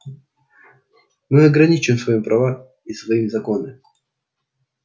мы ограничиваем свои права и свои законы